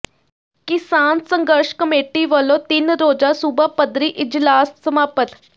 ਕਿਸਾਨ ਸੰਘਰਸ਼ ਕਮੇਟੀ ਵਲੋਂ ਤਿੰਨ ਰੋਜ਼ਾ ਸੂਬਾ ਪੱਧਰੀ ਇਜਲਾਸ ਸਮਾਪਤ